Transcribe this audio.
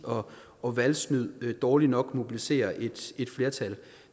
og valgsnyd dårlig nok mobilisere et flertal